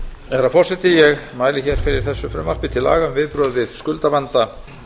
herra forseti ég mæli hér fyrir þessu frumvarpi til laga um viðbrögð við skuldavanda